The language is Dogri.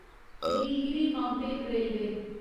Nilgiri mountain railway